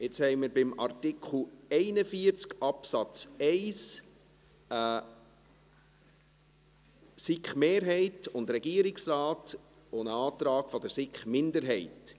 Jetzt haben wir bei Artikel 41 Absatz 1 eine SiK-Mehrheit und Regierungsrat und einen Antrag der SiK-Minderheit.